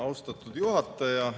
Austatud juhataja!